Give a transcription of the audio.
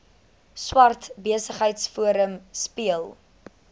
swart besigheidsforum speel